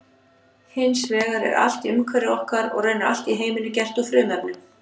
Hins vegar er allt í umhverfi okkar og raunar allt í heiminum gert úr frumefnum.